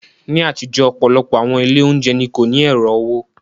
Ní àtijọ́, ọ̀pọ̀lọpọ̀ àwọn ilé oúnjẹ ni kò ní ẹ̀rọ owó.